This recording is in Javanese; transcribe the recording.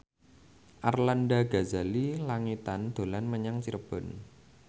Arlanda Ghazali Langitan dolan menyang Cirebon